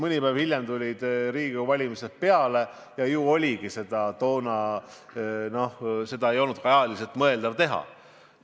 Mõni päev hiljem tulid Riigikogu valimised peale ja ju ei olnudki seda toona ajaliselt mõeldav teha.